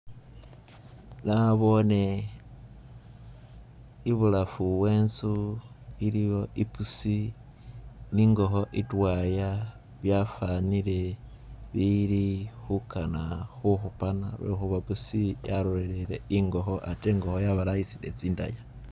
Nabone ibulafu wenzu iliyo ipusi ningoho itwaya byafanire bili hukana huhupana lwehuba pusi yarorele ingoho ate ingoho yabalayisile tsindaya